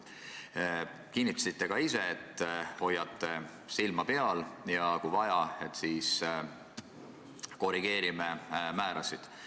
Te kinnitasite, et hoiate silma peal ja kui vaja, siis korrigeeritakse määrasid.